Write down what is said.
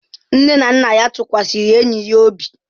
Nne na nna ya tụkwasịrị enyi ya obi.